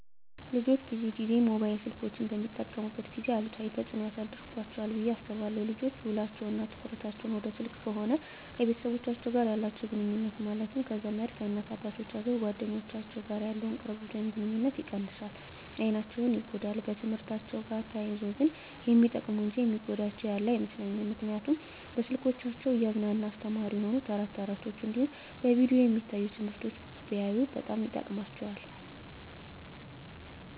ልጆች ብዙን ጊዜ ሞባይል ስልኮችን በሚጠቀሙበት ጊዜ አሉታዊ ተፅዕኖ ያሳድርባቸዋል ብየ አስባለሁ። ልጆች ውሎቸው እና ትኩረታቸውን ወደ ስልክ ከሆነ ከቤተሰቦቻቸው ጋር ያላቸውን ግኑኙነት ማለትም ከዘመድ፣ ከእናት አባቶቻቸው፣ ከጓደኞቻቸው ጋር ያለውን ቅርበት ወይም ግኑኝነት ይቀንሳል፣ አይናቸው ይጎዳል፣ በትምህርትአቸው ጋር ተያይዞ ግን የሚጠቅሙ እንጂ የሚጎዳቸው ያለ አይመስለኝም ምክንያቱም በስልኮቻቸው እያዝናና አስተማሪ የሆኑ ተረት ተረቶች እንዲሁም በቪዲዮ የሚታዩ ትምህርቶችን ቢያዩ በጣም ይጠቅማቸዋል።